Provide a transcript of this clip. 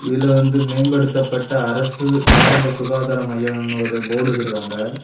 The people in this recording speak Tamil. இதுல வந்து மேம்படுத்தப்பட்ட அரசு ஆரம்ப சுகாதார மையம் ஒரு போர்டு வச்சிருக்காங்க.